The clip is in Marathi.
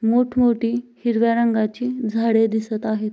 मोठं मोठी हिरव्या रंगाची झाडे दिसत आहेत.